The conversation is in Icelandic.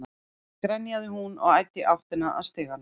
grenjaði hún og æddi í áttina að stiganum.